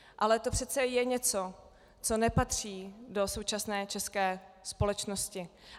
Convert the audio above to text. Ale to je přece něco, co nepatří do současné české společnosti.